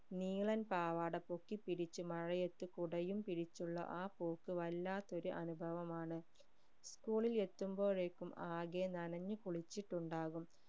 നീളൻ പാവാട പൊക്കിപിടിച് മഴയത്ത് കുടയും പിടിച്ചുള്ള ആ പോക്ക് വല്ലാത്തൊരു അനുഭവമാണ് school ൽ എത്തുമ്പോഴേക്കും ആകെ നനഞ് കുളിച്ചുണ്ടാകും